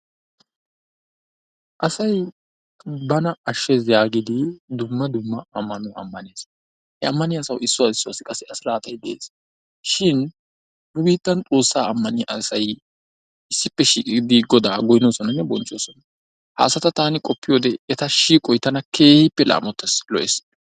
Asay bana ashshees yaagidi dumma dumma ammanuwa ammanees. he ammaniya asaw issuwa issuwassi qassi a siraatay de'ees. shin nu biittan Xoossaa ammaiyaa asay issippe shiiqidi Goda goynnosonanne bonchchoosona. ha asata taani qopiyoode eta shiiqoy tana keehippe laammotees, lo''ees.